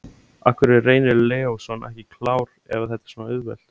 Af hverju er Reynir Leósson ekki klár ef þetta er svona auðvelt?